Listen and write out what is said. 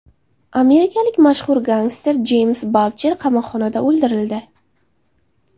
Amerikalik mashhur gangster Jeyms Baldjer qamoqxonada o‘ldirildi.